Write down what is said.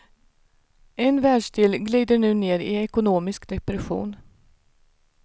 En världsdel glider nu ner i ekonomisk depression.